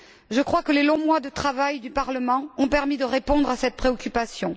Je crois que les longs mois de travail du Parlement ont permis de répondre à cette préoccupation.